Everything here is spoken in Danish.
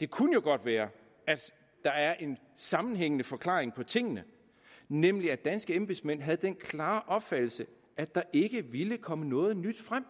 det kunne godt være at der er en sammenhængende forklaring på tingene nemlig at danske embedsmænd havde den klare opfattelse at der ikke ville komme noget nyt frem